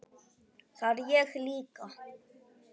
Það er ég líka